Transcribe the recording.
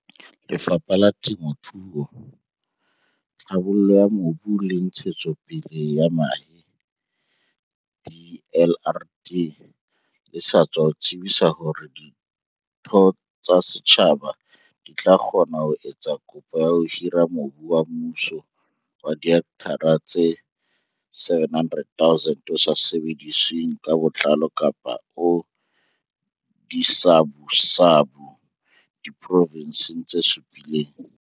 Lefapha la Temo thuo, Tlhabollo ya Mobu le Ntshetsopele ya Mahae, DLRD, le sa tswa tsebisa hore ditho tsa setjhaba di tla kgona ho etsa kopo ya ho hira mobu wa mmuso wa dihekthara tse 700 000 o sa sebedisweng ka botlalo kapa o disabusabu diprovenseng tse supileng.